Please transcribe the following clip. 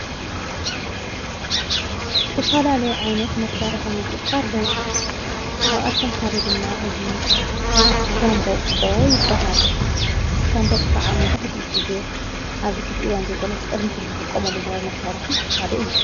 ዝተፋላለዮ ዓይነት መሣርሐ ሙዚቃ ኣለዉ ካብኣቶም ሓደ ድማ እዙ ሻንቦቆ ይበሃል ሻንቦቆ ኸዓ መብዛህቲኡ ጊዜ ኣብዚኅእዚይ ይዋን ዘይኮነ ዝቅድሚሕ ዝዝጥቖመሉ ዝነበር መሣርሒ ሓደ እዩ::